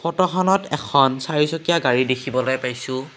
ফটোখনত এখন চাৰিচকীয়া গাড়ী দেখিবলৈ পাইছোঁ।